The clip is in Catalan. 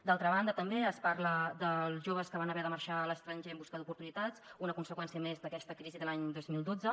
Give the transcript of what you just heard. d’altra banda també es parla dels joves que van haver de marxar a l’estranger en busca d’oportunitats una conseqüència més d’aquesta crisi de l’any dos mil dotze